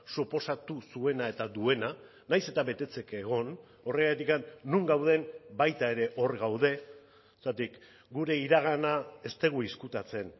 suposatu zuena eta duena nahiz eta betetzeke egon horregatik non gauden baita ere hor gaude zergatik gure iragana ez dugu ezkutatzen